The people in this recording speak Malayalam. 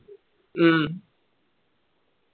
ഉം